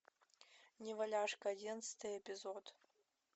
неваляшка одиннадцатый эпизод